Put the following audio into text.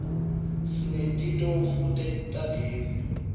sineti tofu tagezi